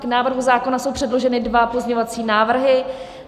K návrhu zákona jsou předloženy dva pozměňovací návrhy.